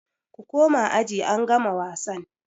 Ku koma aji angama wasan!